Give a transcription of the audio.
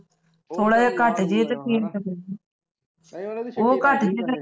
ਥੋੜਾ ਜਿਹਾ ਘੱਟ ਜਿਹੇ ਤਾਂ